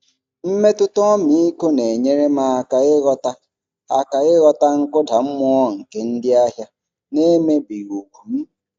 Mmetụta ọmịiko na-enyere m aka ịghọta aka ịghọta nkụda mmụọ nke ndị ahịa n'emebighị ùgwù m.